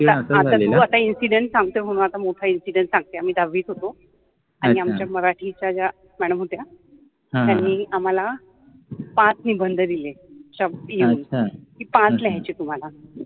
आता तु इंसिडंट सांगतोय म्हनुन आता मोठा इंसिडंट सांगते अ आम्हि दहावित होतो आणि आमच्या ज्या मराठिच्या मॅडम होत्या त्यानि आम्हाला पाच निबंध दिले शब्द लिहुन कि पाच लिहायचे आहे तुम्हाला